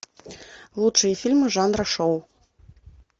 лучшие фильмы жанра шоу